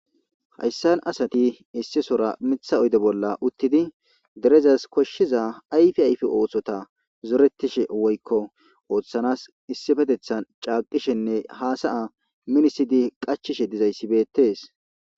Haysan asati issisora mitha oyde bolla uttidi derezas koshiza ayfe ayfe othota zoretishene woykon othana caqetishene hasaya minisishe issippe qachishe dosona